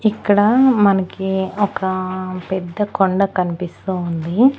ఇక్కడ మనకి ఒక పెద్ద కొండ కన్పిస్తూ ఉంది.